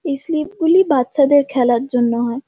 এই স্লিপ গুলো বাচ্চাদের খেলার জন্য হয়।